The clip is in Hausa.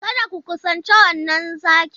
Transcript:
Kada ku kusanci wannan zaki!